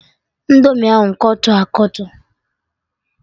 Indomi ahụ Kọtọ akọtọ